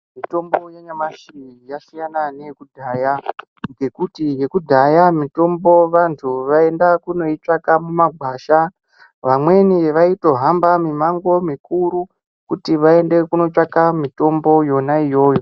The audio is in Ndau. Mitombo yanyamushi yasiyana neyekudhaya ngekuti yekudhaya mitombo vanhu vaienda kundoitsvaka mumagwasha. Vamweni vaitohamba mimango mikuru kuti vaende kunotsvaka mitombo yona iyoyo.